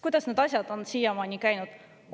Kuidas need asjad on siiamaani käinud?